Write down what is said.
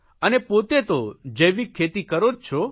અને પોતે તો જૈવિક ખેતી કરો જ છો